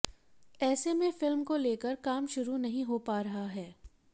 ऐसे में फिल्म को लेकर काम शुरू नहीं हो पा रहा है